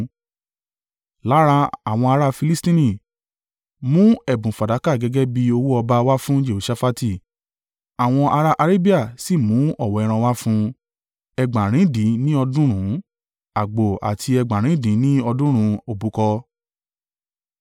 Lára àwọn ará Filistini, mú ẹ̀bùn fàdákà gẹ́gẹ́ bí owó ọba wá fún Jehoṣafati, àwọn ará Arabia sì mú ọ̀wọ́ ẹran wá fún un, ẹgbàarindín ní ọ̀ọ́dúnrún (7,700) àgbò àti ẹgbàarindín ní ọ̀ọ́dúnrún (7,700) òbúkọ.